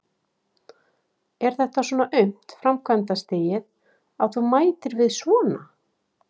Er þetta svona aumt framkvæmdastigið, að þú mætir við svona?